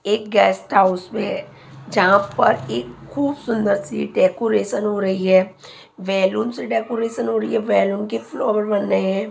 एक guest house जहां पर एक खूब सुंदर सी डेकोरेशन हो रही है बैलून से डेकोरेशन हो रही है बैलून के फ्लोर बन रहे हैं।